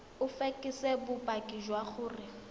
o fekese bopaki jwa gore